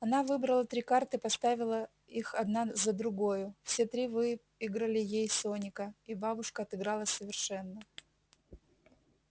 она выбрала три карты поставила их одна за другою все три выиграли ей соника и бабушка отыгралась совершенно